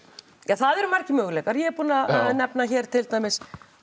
það eru margir möguleikar ég er búin að nefna